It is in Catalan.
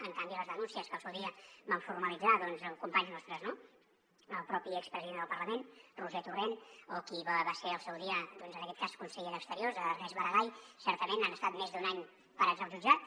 en canvi les denúncies que al seu dia van formalitzar companys nostres el propi expresident del parlament roger torrent o qui va ser al seu dia en aquest cas conseller d’exteriors ernest maragall certament han estat més d’un any parades al jutjat